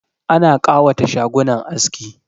Ana kawata shagunan aski